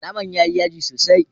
Naman ya yi yaji sosai.